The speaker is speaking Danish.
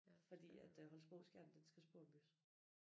Fordi at øh Holstebro Skjern den skal sporombygges